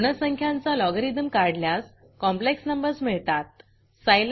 ऋण संख्यांचा logarithmलोगरिदम काढल्यास कॉम्प्लेक्स numbersकॉंप्लेक्स नंबर्स मिळतात